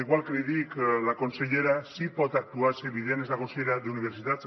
igual que li dic la consellera sí que pot actuar és evident és la consellera d’universitats